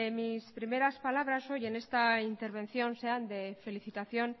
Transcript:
mis primeras palabras hoy en esta intervención sean de felicitación